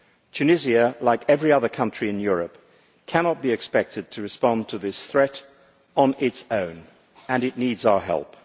Tunisia, like every other country in Europe, cannot be expected to respond to this threat on its own, and it needs our help.